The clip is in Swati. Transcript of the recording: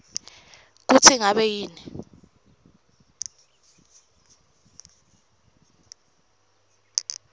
kutsi ngabe yini